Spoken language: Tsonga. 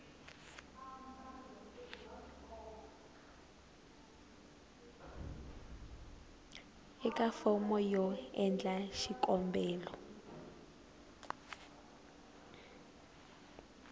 eka fomo yo endla xikombelo